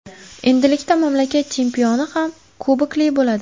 Endilikda mamlakat chempioni ham kubokli bo‘ladi.